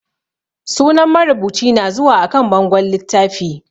Sunan marubuci na zuwa a kan bangon littafi